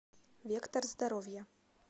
вектор здоровья